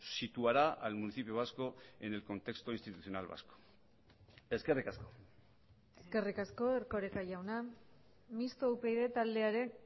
situará al municipio vasco en el contexto institucional vasco eskerrik asko eskerrik asko erkoreka jauna mistoa upyd taldearen